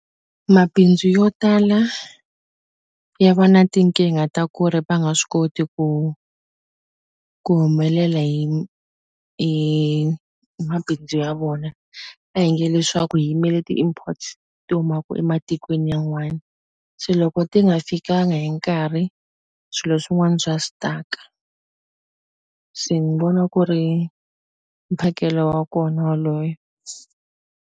Mabindzu yo tala ya va na tinkingha ta ku ri va nga swi koti ku ku humelela hi hi mabindzu ya vona a hi nge leswaku hi yimele imports ti humaku ematikweni yan'wani se loko ti nga fikanga hi nkarhi swilo swin'wani swa stuck-a se ni vona ku ri mphakelo wa kona waloye.